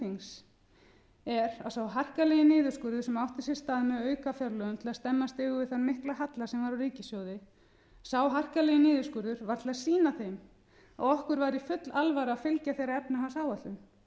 þings er að sá harkalegi niðurskurður sem átti sér stað með aukafjárlögum til þess að stemma stigu við þeim mikla halla sem var á ríkissjóði sá harkalegi niðurskurður var til að sýna þeim að okkur væri full alvara að fylgja þeirri efnahagsáætlun